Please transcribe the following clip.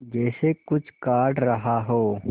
जैसे कुछ काट रहा हो